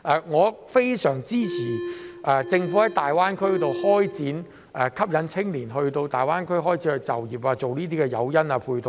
我非常支持政府在大灣區開展吸引青年人到大灣區就業的誘因和配套。